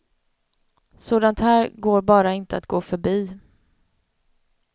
Sådant här går bara inte att gå förbi.